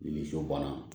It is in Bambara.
Nimisi bana